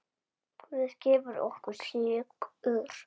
Guð gefur okkur sigur.